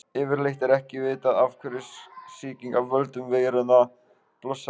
Yfirleitt er ekki vitað af hverju sýking af völdum veiranna blossar upp.